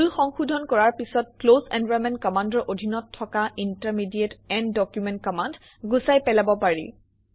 ভুল সংশোধন কৰাৰ পিছত ক্লছ এনভাইৰনমেণ্ট কমাণ্ডৰ অধীনত থকা ইণ্টাৰমিডিয়েট এণ্ড ডকুমেণ্ট কমাণ্ড গুচাই পেলাব পাৰি